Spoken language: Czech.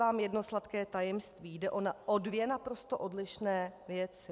Vám jedno sladké tajemství: Jde o dvě naprosto odlišné věci.